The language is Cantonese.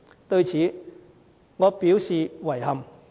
對此，我表示遺憾。